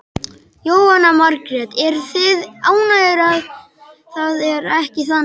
Jóhanna Margrét: Eruð þið ánægðar að það er ekki þannig?